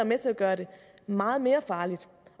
med til at gøre det meget mere farligt